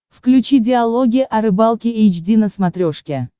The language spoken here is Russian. включи диалоги о рыбалке эйч ди на смотрешке